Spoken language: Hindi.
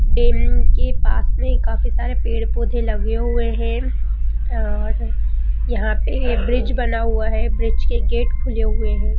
डेम के पास में काफी सारे पेड़-पौधे लगे हुए हैं और-- यहाँ पे ये ब्रिज बना हुआ हैं ब्रिज के गेट खुले हुए हैं।